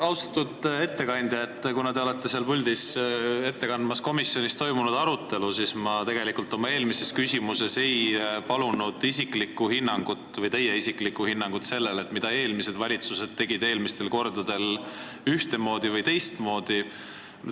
Austatud ettekandja, kuna te kannate seal puldis ette komisjonis toimunud arutelu, siis ma tegelikult oma eelmises küsimuses ei palunud teie isiklikku hinnangut sellele, mida eelmised valitsused tegid eelmistel kordadel ühtemoodi või teistmoodi.